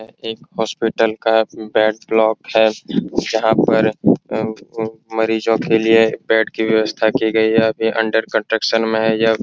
एक हॉस्पिटल का bed block है जहां पर उम्म उम्म मरीजों के लिए बेड की व्यवस्था की गई है अभी अंडर कंस्ट्रक्शन में है यह।